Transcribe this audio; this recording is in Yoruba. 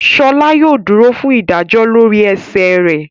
Sola yóò dúrò fún ìdájọ lórí ẹṣẹ rẹ